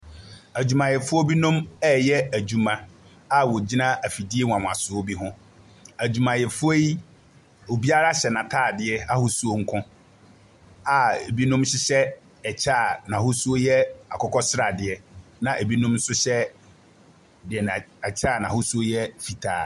Adwumafoɔ binmom ɛreyɛ adwuma a wɔgyina afidie nwanwasoɔ bi ho. Adwuamayɛfoɔ yi, obiara hyɛ n’ataadeɛ ahosuo nko a ɛbinom hyehyɛ ɛkyɛ a n’ahosuo yɛ akokɔsradeɛ, na ɛbinom nso hyɛ deɛ n’a ɛkyɛ a n’ahosuo no yɛ fitaa.